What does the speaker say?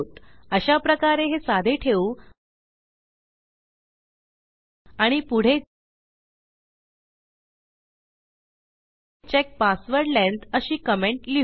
अशाप्रकारे हे साधे ठेवू आणि पुढे चेक पासवर्ड लेंग्थ अशी कमेंट लिहू